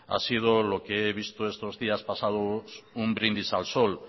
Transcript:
ha sido lo que he visto estos días pasados un brindis al sol